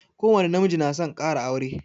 Ko wani na miji na son kara aure